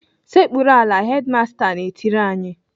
"Sekpuru ala!" Hedimasta na-etiri anyị.